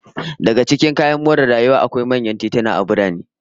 Daga cikin kayan more rayuwa a birane, akwai manyan tituna masu kyau da fadi